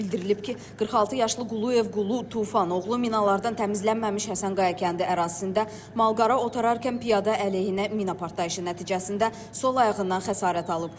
Bildirilib ki, 46 yaşlı Quluyev Qulu Tufan oğlu minalardan təmizlənməmiş Həsənqaya kəndi ərazisində malqara otararkən piyada əleyhinə mina partlayışı nəticəsində sol ayağından xəsarət alıb.